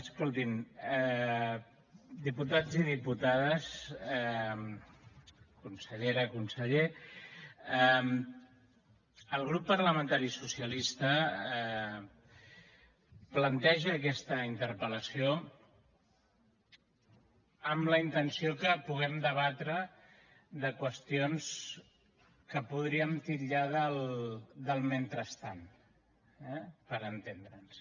escoltin diputats i diputades consellera conseller el grup parlamentari socialista planteja aquesta interpel·lació amb la intenció que puguem debatre qüestions que podríem titllar del mentrestant eh per entendre’ns